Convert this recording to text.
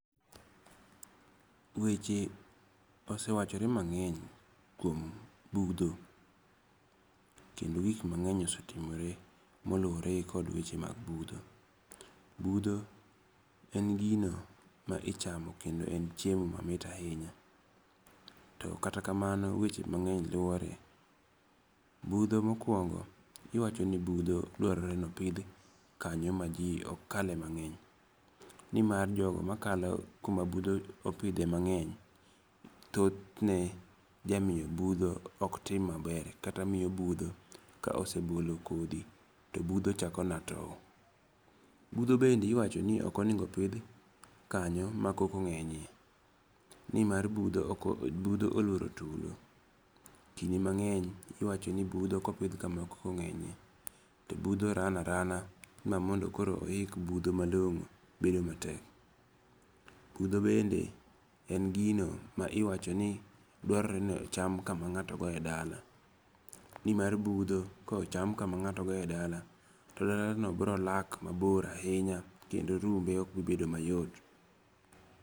Weche osewachore mang'eny kuom budho. Kendo gik mang'eny osetimore molure gi kod weche mag pudho. Budho en gino ma ichamo kendo en chiemo mamit ahinya. To kata kamano weche mang'eny luore. Budho mokuongo iwacho ni budho dwarore ni opidh kanyo ma ji ok kale mang'eny. Ni mar jogo makalo kuma budho opidhe mang'eny thoth ne jamiyo budho ok tim maber kata miyo budho ka osegolo kodhi to budho chako mana tow. Budho bende iwacho ni ok onengo opidh kanyo ma koko ng'enye ni mar budho oluoro tulo. Kinde mang'eny iwacho ni budho kopidh kuma koko ng'enye to budho ran arana ma mondo koro oik budho malong'o bedo matek. Budho bende en gino ma iwacho ni dwarore ni ocham kama ng'ato goye dala. Nima budho kochan kama ng'ato goye dala to dala no bro lak mabor ahinya kendo rumbe ok biro bedo mayot.